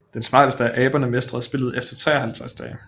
Den smarteste af aberne mestrede spillet efter 53 dage